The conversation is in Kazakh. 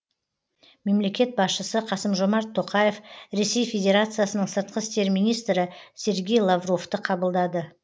мемлекет басшысы қасым жомарт тоқаев ресей федерациясының сыртқы істер министрі сергей лавровты қабылдады